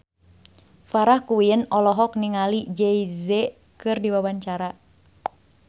Farah Quinn olohok ningali Jay Z keur diwawancara